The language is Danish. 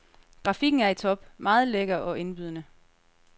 Grafikken er i top, meget lækker og indbydende.